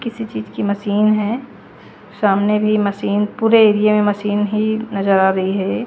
किसी चीज की मशीन है सामने भी मशीन पूरे एरिये में मशीन ही नजर आ रही है।